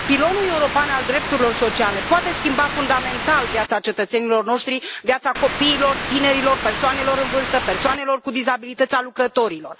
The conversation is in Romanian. Pilonul European al drepturilor sociale poate schimba fundamental viața cetățenilor noștri, viața copiilor, a tinerilor, a persoanelor în vârstă, a persoanelor cu dizabilități, a lucrătorilor.